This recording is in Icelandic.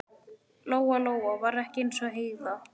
Lóa-Lóa var ekki eins og Heiða